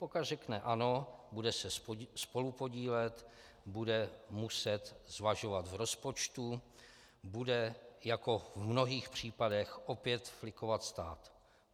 Pokud řekne ano, bude se spolupodílet, bude muset zvažovat v rozpočtu, bude jako v mnohých případech opět flikovat stát.